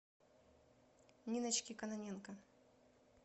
ниночке кононенко